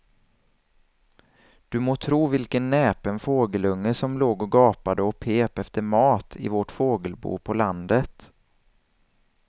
Du må tro vilken näpen fågelunge som låg och gapade och pep efter mat i vårt fågelbo på landet.